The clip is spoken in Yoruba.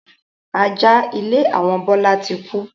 Ajá ilé àwọn Bọlá tí kú